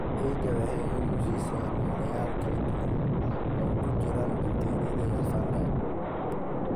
Ciiddu waxay hoy u siisaa nooleyaal kala duwan, oo ay ku jiraan bakteeriyada iyo fungi.